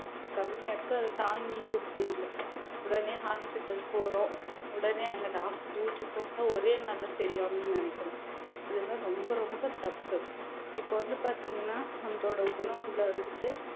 எதிர்ப்பு சக்தி கம்மியா இருக்கு அதை தாங்கிக்க முடியலை உடனே hospital போறோம் உடனே அங்க doctor க்கு ஊசி போட்டா ஒரே நாள்ல சரியாகணும்னு நினைக்கிறோம் இதெல்லாம் ரொம்ப ரொம்ப தப்பு இப்ப வந்து பார்த்தீங்கன்னா நம்மளோட உணவுல வந்துட்டு